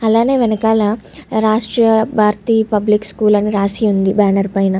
అలానే వెనకాల Rashtriya Bharati public school అని రాసి ఉంది బ్యానర్ పైన.